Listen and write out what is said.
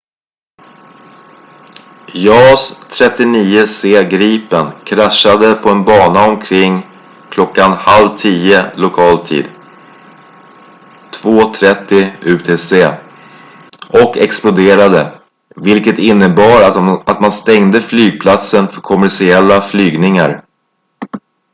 jas 39c gripen kraschade på en bana omkring kl. 9.30 lokal tid 2.30 utc och exploderade vilket innebar att man stängde flygplatsen för kommersiella flygningar